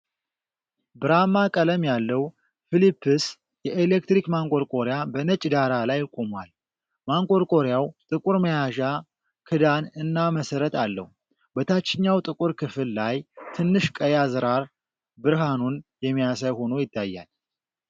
ብርማ ቀለም ያለው ፊሊፕስ የኤሌክትሪክ ማንቆርቆሪያ በነጭ ዳራ ላይ ቆሟል። ማንቆርቆሪያው ጥቁር መያዣ፣ ክዳን እና መሰረት አለው። በታችኛው ጥቁር ክፍል ላይ ትንሽ ቀይ አዝራር ብርሃኑን የሚያሳይ ሆኖ ይታያል።